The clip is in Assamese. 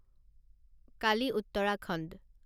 কালি উত্তৰাখণ্ড